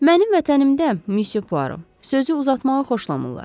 Mənim vətənimdə, Monsieur Poirot, sözü uzatmağı xoşlamırlar.